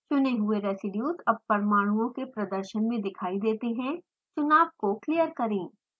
चुने हुए रेज़ीडियुज़ अब परमाणुओं के प्रदर्शन में दिखाई देतें है चुनाव को क्लियर करें